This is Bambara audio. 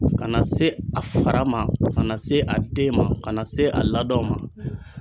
Ka na se a fara ma, ka na se a den ma, ka na se a ladonw ma.